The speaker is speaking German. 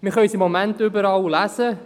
Wir können es im Moment überall lesen: